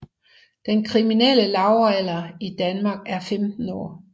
Den kriminelle lavalder i Danmark er 15 år